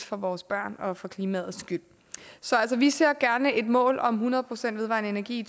for vores børns og for klimaets skyld så vi ser gerne et mål om hundrede procent vedvarende energi i